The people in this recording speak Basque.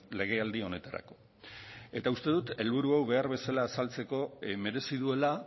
legealdi honetarako uste dut helburu hau behar bezala azaltzeko merezi duela